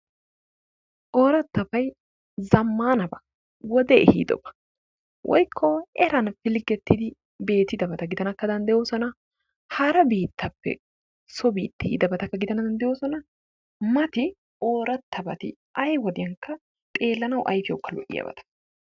Orattabay zamannabaa wodee ehidobaa woyko eranni filgettiddi betidabattakka gidanawu dandayosonna, hara bittappe so bittaa yidabbakka gidanawu dandayosonnaa, matti orattabatti xelanawu ayfiyawukka lo'iyabbattaa.